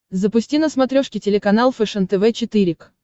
запусти на смотрешке телеканал фэшен тв четыре к